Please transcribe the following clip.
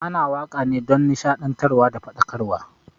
Ana wakane dan nishaɗantar da faɗakarwa